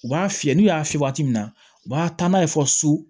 U b'a fiyɛ n'u y'a fiyɛ waati min na u b'a taa n'a ye fɔ so